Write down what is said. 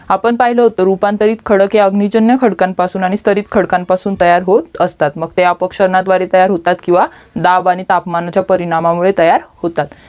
आपण पहिलं होत रूपांतरित खडक हे अग्निजन्य खडकापासून स्थरीत खडकापासून तयार होत असतात ते अपक्षणा द्वारे तयार होतात किवहा दाब आणि तापमानाच्या परिनामामुळे तयार होतात